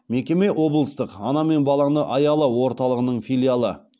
мекеме облыстық ана мен баланы аяла орталығының филиалы